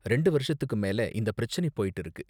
ரெண்டு வருஷத்துக்கும் மேல இந்த பிரச்சினை போய்ட்டு இருக்கு.